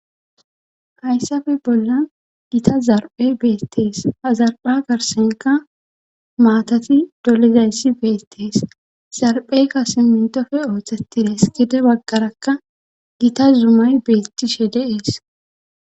hayssafe bollan gita zarphe beettees ha hazarpha garsenka maatati dolizayssi beettees zarphe kase mintofe ooththeti dees gede baggarakka gita zumay beettishe de'es